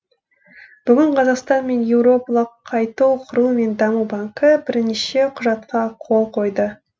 бүгін қазақстан мен еуропалық қайту құру мен даму банкі бірнеше құжатқа қол қойды